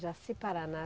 Jaci Paraná.